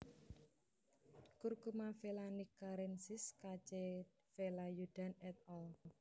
Curcuma vellanikkarensis K C Velayudhan et al